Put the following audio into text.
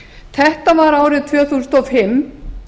þetta var árið tvö þúsund og fimm